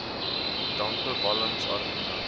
dampe walms amiene